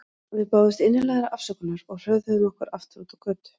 Við báðumst innilegrar afsökunar og hröðuðum okkur aftur út á götu.